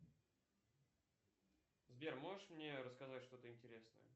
сбер можешь мне рассказать что то интересное